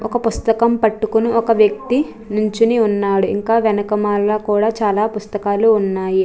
ఒక పుస్తకం పట్టుకుని ఒక వ్యక్తి నిల్చుని ఉన్నాడు ఇంకా వెనకమాల కూడా చాలా పుస్తకాలు ఉన్నాయి.